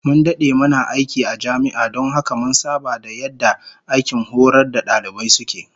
Mun dade muna aiki a jami'a don haka mun saba da yadda aikin horar da dalibai suke